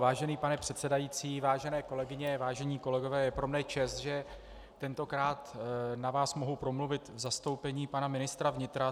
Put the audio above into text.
Vážený pane předsedající, vážené kolegyně, vážení kolegové, je pro mne čest, že tentokrát na vás mohu promluvit v zastoupení pana ministra vnitra.